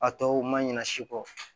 A tɔw ma ɲina si kɔ